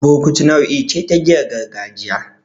Burkutu nau'i ce ta giyar gargajiya.